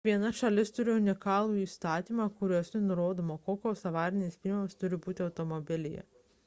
kiekviena šalis turi unikalių įstatymų kuriuose nurodoma kokios avarinės priemonės turi būti automobilyje